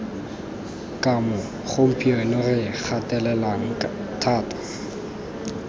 kamo gompieno re gatelelang thata